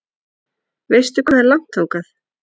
Veistu hvað er langt þangað?